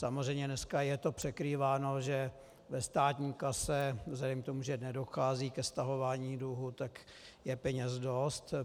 Samozřejmě dneska je to překrýváno, že ve státní kase, vzhledem k tomu, že nedochází ke stahování dluhu, tak je peněz dost.